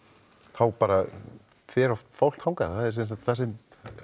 þá bara fer oft fólk þangað það er þessi